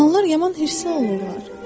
İlanlar yaman hirslə olurlar.